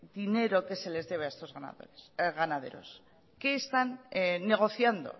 dinero que se les debe a estos ganaderos qué están negociando